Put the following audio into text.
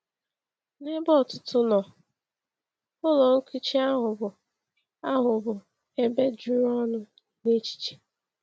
N’ebe ọtụtụ nọ, ụlọ nkụchi ahụ bụ ahụ bụ ebe juru ọnụ n’echiche.